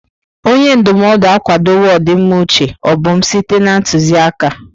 Onye ndụmọdụ akwadowo ọdịmma uche Obum site na ntụzịaka.